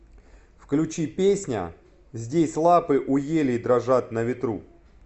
включи песня здесь лапы у елей дрожат на ветру